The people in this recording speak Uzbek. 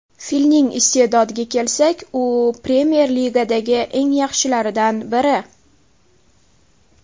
Filning iste’dodiga kelsak, u Premyer Ligadagi eng yaxshilaridan biri.